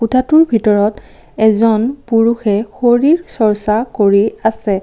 কোঠাটোৰ ভিতৰত এজন পুৰুষে শৰীৰ চৰ্চা কৰি আছে।